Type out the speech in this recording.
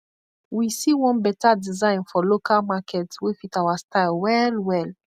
wi see one beta design for lokal market wey fit awa style well well